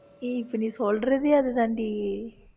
ஏய் இப்ப நீ சொல்றதே அதுதான்டி